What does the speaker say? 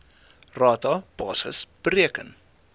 rata basis bereken